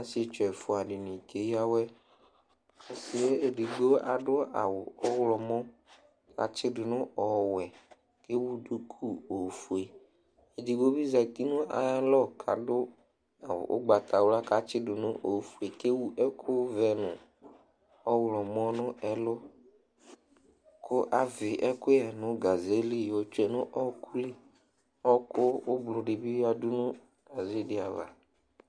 Asietsu ɛfʋa dini keya awɛ edigbo ɔsiyɛ adʋ awʋ ɔwlɔmɛ kʋ atsidʋ nʋ ɔwɛ kʋ ewʋ duku ofue edigbo bi zati nʋ ayʋ alɔ kʋ adʋ awʋ ʋgbatawla kʋ atsidʋ nʋ ofue kʋ ewʋ ɛkʋvɛ nʋ ɔwlɔmɔ nʋ ɛlʋ kʋ avi ɛkʋyɛ nʋ gazeli yɔtsue nʋ ɔkʋli ɔkʋ ʋblʋ dibi yadʋ nʋ gaze di ava